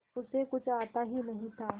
उसे कुछ आता ही नहीं था